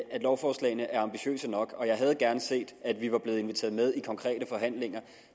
lovforslagene er ambitiøse nok og jeg havde gerne set at vi var blevet inviteret med i konkrete forhandlinger